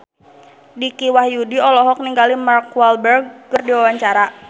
Dicky Wahyudi olohok ningali Mark Walberg keur diwawancara